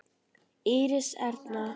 Íris Erna.